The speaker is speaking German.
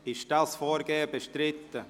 Ist dieses Vorgehen bestritten?